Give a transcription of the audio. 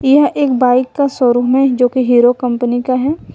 यह एक बाइक का शोरूम है जो की हीरो कंपनी का है।